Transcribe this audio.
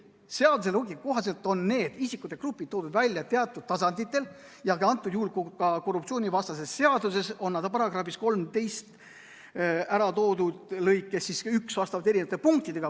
Seaduse loogika kohaselt on need isikute grupid toodud välja teatud tasanditel ja antud juhul on nad korruptsioonivastases seaduses ära toodud § 13 lõike 1 eri punktides.